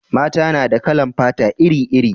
mata na da kalan fata iri iri